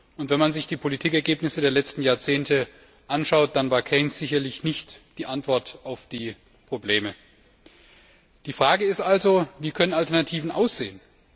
Und wenn man sich die Politikergebnisse der letzten Jahrzehnte anschaut, dann war Keynes sicherlich nicht die Antwort auf die Probleme. Die Frage ist also Wie können Alternativen aussehen?